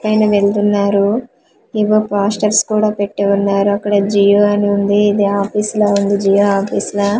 ఆయన వెళ్తున్నారు ఇవో పాస్టర్స్ కూడా పెట్టి వున్నారు అక్కడ జియో అని వుంది ఇది ఆఫీసు లా వుంది జియో ఆఫీసు లా .